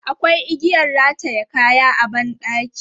Akwai igiyan rataye kaya a ban ɗaki.